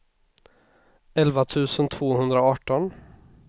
elva tusen tvåhundraarton